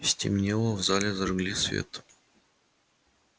стемнело в зале зажгли свет